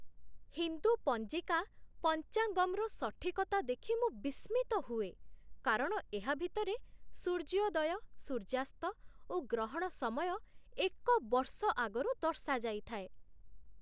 ହିନ୍ଦୁ ପଞ୍ଜିକା 'ପଞ୍ଚାଙ୍ଗମ୍'ର ସଠିକତା ଦେଖି ମୁଁ ବିସ୍ମିତ ହୁଏ, କାରଣ ଏହା ଭିତରେ ସୂର୍ଯ୍ୟୋଦୟ, ସୂର୍ଯ୍ୟାସ୍ତ ଓ ଗ୍ରହଣ ସମୟ ଏକ ବର୍ଷ ଆଗରୁ ଦର୍ଶାଯାଇଥାଏ।